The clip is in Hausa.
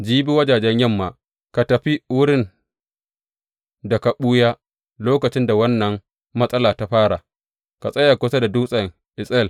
Jibi wajajen yamma, ka tafi wurin da ka ɓuya lokacin da wannan matsala ta fara, ka tsaya kusa da dutsen Etsel.